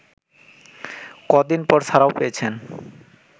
কদিন পর ছাড়াও পেয়েছেন